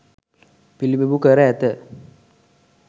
පිළිබිඹු කර ඇත.